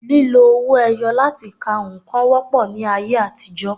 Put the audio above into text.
Lílo owó ẹyọ láti ka nǹkan wọ́pọ̀ ní ayé àtijọ́